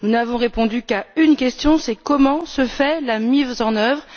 Nous n'avons répondu qu'à une question, à savoir comment se fait la mise en œuvre?